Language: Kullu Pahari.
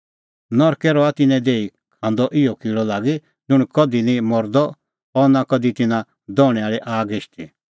ज़िधी तिन्नों किल़अ निं मरदअ और आग निं हिशदी